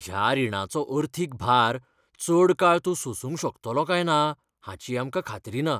ह्या रिणाचो अर्थीक भार चड काळ तूं सोसुंक शकतलो काय ना हाची आमकां खात्री ना.